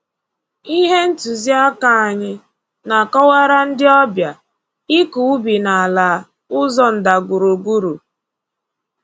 Ihe ntụzi aka anyị na-akọwara ndị ọbịa ịkọ ubi n'ala ụzọ ndagwurugwu